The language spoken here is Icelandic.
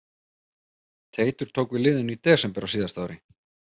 Teitur tók við liðinu í desember á síðasta ári.